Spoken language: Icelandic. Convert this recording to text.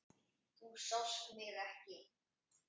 Þú sást mig ekki.